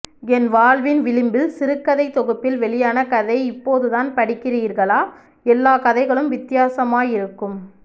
என் வாழ்வின் விளிம்பில் சிறுகதைத் தொகுப்பில் வெளியான கதை இப்போதுதான் படிக்கிறீர்களா எல்லாக் கதைகளும் வித்தியாசமாயிருக்கும்